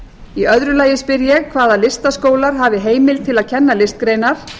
í öðru lagi spyr ég hvaða listaskólar hafi heimild til að kenna listgreinar